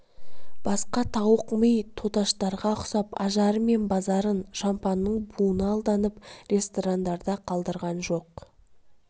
басқа тауық ми тоташтарға ұқсап ажары мен базарын шампанның буына алданып ресторандарда қалдырған жоқ